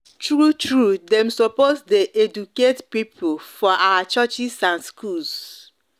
true true dem sopos de dem sopos de educate pipul for our churches and schools